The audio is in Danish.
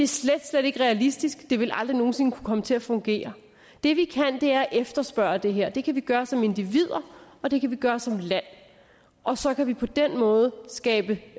slet slet ikke realistisk det vil aldrig nogen sinde kunne komme til at fungere det vi kan er at efterspørge det her det kan vi gøre som individer og det kan vi gøre som land og så kan vi på den måde skabe